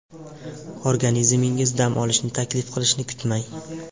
Organizmingiz dam olishni taklif qilishini kutmang.